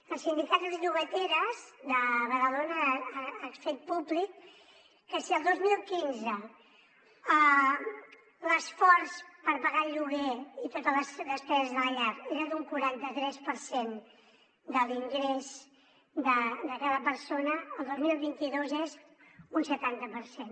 el sindicat de llogateres de badalona ha fet públic que si el dos mil quinze l’esforç per pagar el lloguer i totes les despeses de la llar era d’un quaranta tres per cent de l’ingrés de cada persona el dos mil vint dos és un setanta per cent